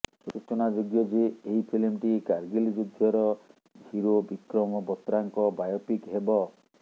ସୂଚନାଯୋଗ୍ୟ ଯେ ଏହି ଫିଲ୍ମଟି କାରଗିଲ୍ ଯୁଦ୍ଧର ହିରୋ ବିକ୍ରମ ବତ୍ରାଙ୍କ ବାୟୋପିକ୍ ହେବ